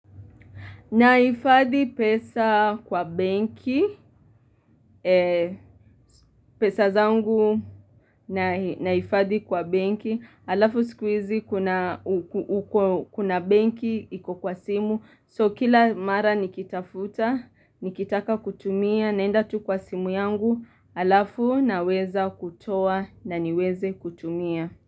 Nahifadhi pesa kwa benki, pesa zangu nahifadhi kwa benki, halafu siku hizi kuna kuna benki iko kwa simu, so kila mara nikitafuta, nikitaka kutumia, naenda tu kwa simu yangu, halafu naweza kutoa na niweze kutumia.